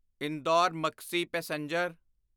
Indore Maksi passenger